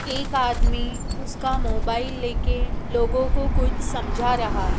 एक आदमी उसका मोबाइल लेके लोगों को कुछ समझा रहा है।